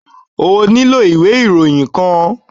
O nílò ìwé ìròyìn kan.